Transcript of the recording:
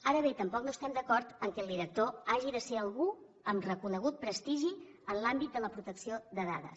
ara bé tampoc no estem d’acord que el director hagi de ser algú amb reconegut prestigi en l’àmbit de la protecció de dades